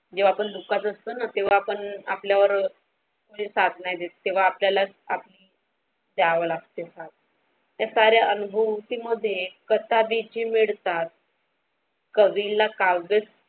जेव्हा आपण दुःखात असतो न तेव्हा आपण आपल्या वर कोणी साथ नाही देत तेव्हा आपल्यालाच आपली द्याव लागते साथ हे सारे अनुभवती मध्ये कसा भीती मिळतात कवीला काव्य.